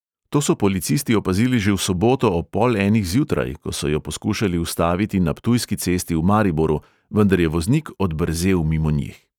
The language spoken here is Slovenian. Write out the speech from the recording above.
To so policisti opazili že v soboto ob pol enih zjutraj, ko so jo poskušali ustaviti na ptujski cesti v mariboru, vendar je voznik odbrzel mimo njih.